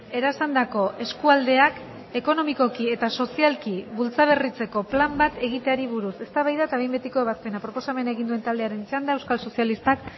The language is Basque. erasandako eskualdeak ekonomikoki eta sozialki bultzaberritzeko plan bat egiteari buruz eztabaida eta behin betiko ebazpena proposamena egin duen taldearen txanda euskal sozialistak